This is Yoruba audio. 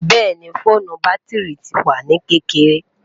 bẹẹni, foonu batiri ti wa ni kekere